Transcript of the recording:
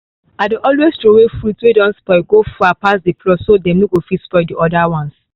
i dey always throway fruits way don spoil go far pass the plot so dem no fit spoil oda ones